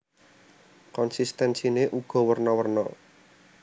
Konsistensiné uga werna werna